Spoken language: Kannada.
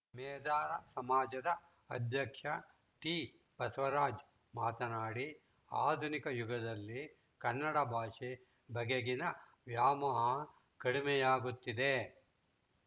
ಮೇದಾರ ಸಮಾಜದ ಅಧ್ಯಕ್ಷ ಟಿಬಸವರಾಜ ಮಾತನಾಡಿ ಆಧುನಿಕ ಯುಗದಲ್ಲಿ ಕನ್ನಡ ಭಾಷೆ ಬಗೆಗಿನ ವ್ಯಾಮೋಹ ಕಡಿಮೆಯಾಗುತ್ತಿದೆ